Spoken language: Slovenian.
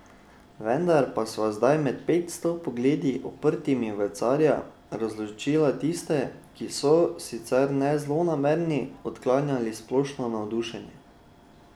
Vendar pa sva zdaj med petsto pogledi, uprtimi v carja, razločila tiste, ki so, sicer ne zlonamerni, odklanjali splošno navdušenje.